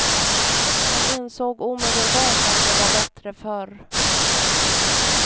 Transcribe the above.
Han insåg omedelbart att det var bättre förr.